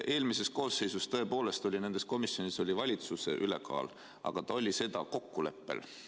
Eelmises koosseisus tõepoolest oli nendes komisjonides valitsuserakondade ülekaal, aga see oli kokkuleppel.